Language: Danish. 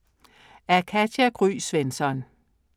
Af Katja Gry Svensson